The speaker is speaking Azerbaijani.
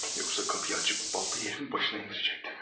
Yoxsa qapıyı açıb baltayı yerin başına endirəcəkdim.